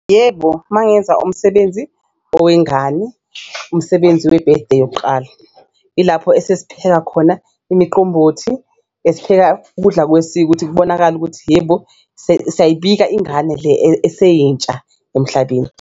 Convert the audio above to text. Yebo, uma ngenza umsebenzi owengane umsebenzi we-birthday yokuqala ilapho esesipheka khona imiqombothi, esipheka ukudla kwesiko ukuthi kubonakale ukuthi yebo siyayibika ingane le eseyintsha emhlabeni.